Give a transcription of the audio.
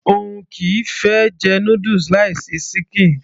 òun kìí fẹ́ jẹ noodles láì sí ṣíkìn